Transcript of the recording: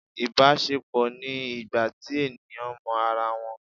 ibaṣepọ ni ìgbà tí eníyan mọ ará wón